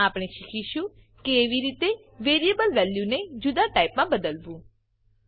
હવે આપણે શીખીશું કેવી રીતે વેરીએબલ વેલ્યુ ને જુદા ટાઈપમાં બદલવું